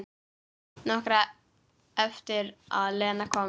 Nokkru eftir að Lena kom.